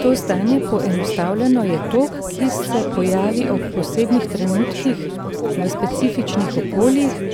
To stanje, poenostavljeno, je tok, ki se pojavi ob posebnih trenutkih v specifičnih okoljih,